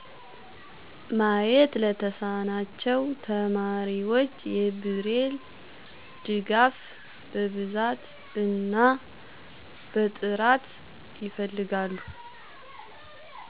ማየት ለተሳናቸው ተማሪዎች የብሬል ድጋፍ በብዛት እና በጥራት ይፈልጋሉ።